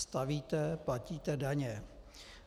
Stavíte, platíte daně.